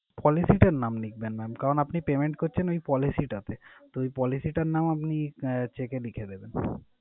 Policy টার নাম লিখবেন mam । কারণ আপনি payment করছেন ওই policy টাতে। তো ওই policy টার নাম আপনি আহ cheque এ লিখে দেবেন।